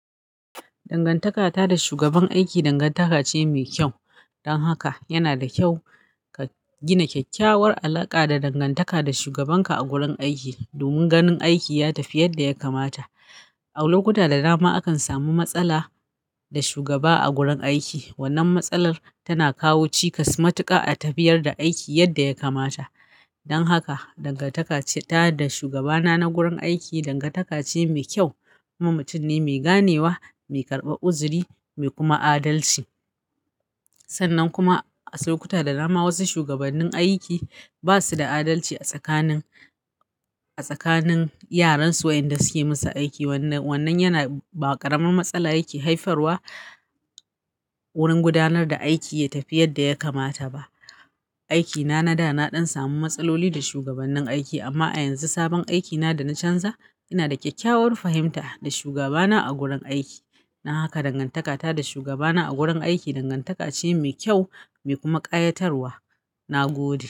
Dangantaka ta da shugaban aiki dangantaka ce mai kyau. Dan haka yana da kyau ka gina kyakkyawar alaka da dangantaka da shugaban ka a gurin aiki. Domin ganin aiki ya tafi yadda ya kamata. A lokuta da dama akan samu matsala da shugaba a gurin aiki. Wannan matsalar tana kawo cikas ma tuƙa a tafiyar da aiki yadda ya kamata. Dan haka dangantaka ta da shugaba na a gurin aiki dangantaka ce mai kyau. Maman mutum ne mai ganewa, mai karɓar uzuri mai kuma adalci. Sannan kuma a saukuta da dama wasu shugabannin aiki basu da adalci a tsakanin, a tsakanin yaran su inda suke musu aiki. Wannan, wannan yana ɓaƙarman matsala yake haifarwa wurin gudanar da aiki ya tafi yadda ya kamata ba. Aiki na na da na ɗan samu matsaloli da shugabannin aiki amma a yanzu sabon aiki na da na canza. Ina da kyakkyawar fahimta da shugaba na a gurin aiki. Na haka dangantaka ta da shugaba na a gurin aiki dangantaka ce mai kyau mai kuma ƙayatarwa. Na gode.